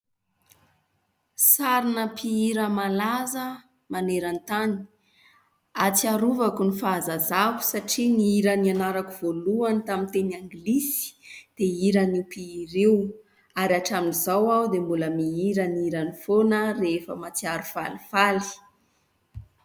Sary an'ny mpihira malaza maneran_tany. Atsiarovako ny fahazazako satria ny hira nianarako tamin'ny teny Anglisy dia hiran'io mpihira io, ary hatramin'izao aho dia mbola mihira ny hirany foana rehefa mahatsiaro falifaly.